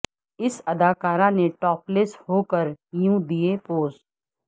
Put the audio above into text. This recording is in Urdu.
اس اداکارہ نے ٹاپ لیس ہوکر یوں دئے پوز